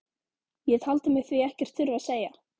Ég taldi mig því ekkert þurfa að segja